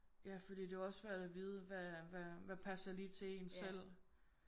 Ja fordi det er jo også svært at vide hvad hvad hvad passer lige til en selv